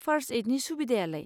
First एइडनि सुबिदायालाय?